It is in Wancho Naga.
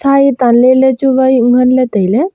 sen tan ley chu wa chu ngan ley tailey.